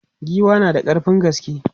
Giwa na da ƙarfin gaske.